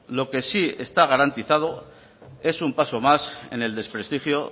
lo que sí está garantizado es un paso más en el desprestigio